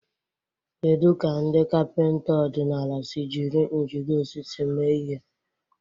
Kedu ka ndị kapịnta ọdịnala si jiri njide osisi mee ihe?